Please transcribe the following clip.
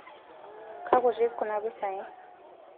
kakutik kuna pisai